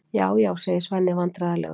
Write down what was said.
Já, já, segir Svenni vandræðalegur.